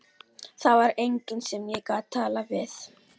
Það var enginn sem ég gat talað við.